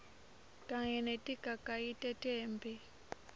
kanye netigagayi tetemphi